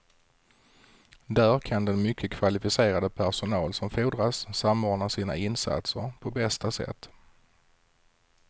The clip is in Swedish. Där kan den mycket kvalificerade personal som fordras samordna sina insatser på bästa sätt.